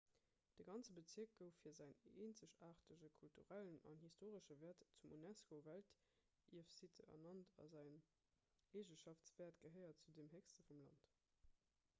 de ganze bezierk gouf fir säin eenzegaartege kulturellen an historesche wäert zum unesco-weltierfsitte ernannt a säin eegeschaftswäert gehéiert zu den héchsten vum land